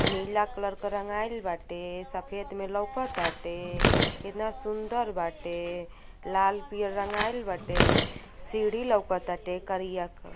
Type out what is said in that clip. नीला कल्रर क रंगाईल बाटे। सफेद में लउकटाते। कितना सुंदर बाटे। लाल-पियर रंगाईल बाटे। म् सीढ़ी लउकटाते करिया क --